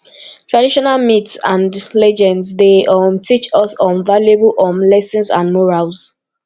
traditonal myths and legends dey um teach us um valuable um lessons and morals